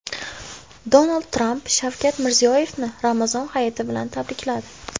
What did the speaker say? Donald Tramp Shavkat Mirziyoyevni Ramazon hayiti bilan tabrikladi.